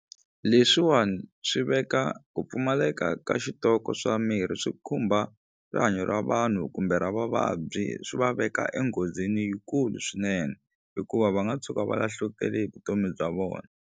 Leswiwani swi veka ku pfumaleka ka xitoko swa mirhi swi khumba rihanyo ra vanhu kumbe ra vavabyi swi va veka enghozini yikulu swinene hikuva va nga tshuka va lahlekele hi vutomi bya vona.